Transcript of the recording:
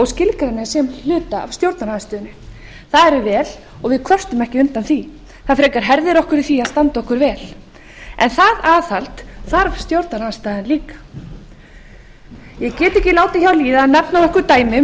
skilgreina sig sem hluta af stjórnarandstöðunni það er vel og við kvörtum ekki undan því það frekar herðir okkur í því að standa okkur vel en það aðhald þarf stjórnarandstaðan líka ég get því ekki látið hjá líða að nefna nokkur dæmi um